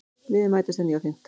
Liðin mætast að nýju á fimmtudag